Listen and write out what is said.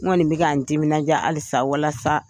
N kɔni bɛ ka n timinadiya halisa walasa